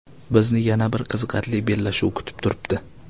Bizni yana bir qiziqarli bellashuv kutib turibdi.